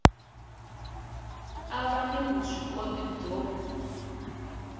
a va ni vuswikoti byo